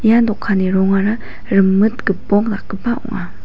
ia dokanni rongara rimit gipok dakgipa ong·a.